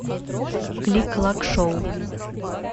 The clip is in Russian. клик клак шоу